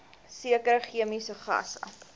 sekere chemiese gasse